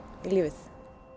í lífið